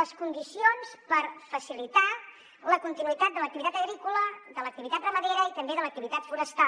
les condicions per facilitar la continuïtat de l’activitat agrícola de l’activitat ramadera i també de l’activitat forestal